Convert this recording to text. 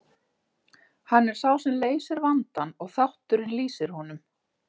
Hann er sá sem leysir vandann og þátturinn lýsir honum.